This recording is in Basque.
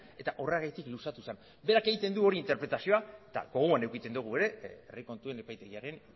eta horregatik luzatu zen berak egiten du hor interpretazioa eta gogoan edukitzen dugu ere herri kontuen epaitegiaren